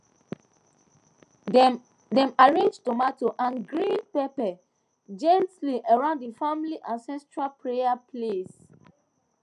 dem arrange tomato and grind pepper gently around the family ancestral prayer place